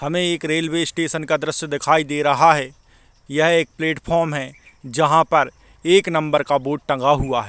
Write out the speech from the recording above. हमे एक railway station का दृश्य दिखाई दे रहा है यह एक प्लात्फ्रोम है जहाँ पर एक नंबर का बोर्ड टेंगा हुआ हैं।